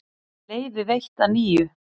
Leyfi veitt að nýju